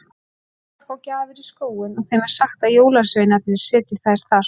Krakkar fá gjafir í skóinn og þeim er sagt að jólasveinarnir setji þær þar.